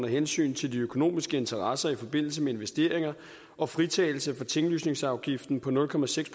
hensyn til de økonomiske interesser i forbindelse med investeringer og fritagelse for tinglysningsafgiften på nul procent